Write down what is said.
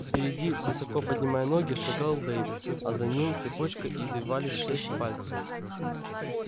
впереди высоко поднимая ноги шагал дейв а за ним цепочкой извивались шесть пальцев